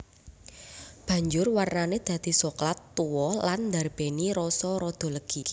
Banjur warnané dadi soklat tuwa lan ndarbèni rasa rada legi